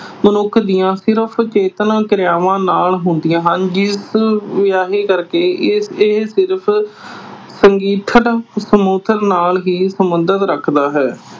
ਮਨੁੱਖ ਦੀਆਂ ਸਿਰਫ਼ ਚੇਤਨਾ ਕਿਰਿਆਵਾਂ ਨਾਲ ਹੁੰਦੀਆਂ ਹਨ ਜਿਸ ਕਰਕੇ ਅਹ ਇਹ ਸਿਰਫ਼ ਨਾਲ ਹੀ ਸਬੰਧ ਰੱਖਦਾ ਹੈ।